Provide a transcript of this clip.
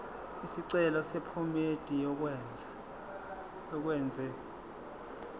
isicelo sephomedi yokwenze